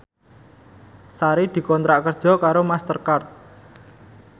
Sari dikontrak kerja karo Master Card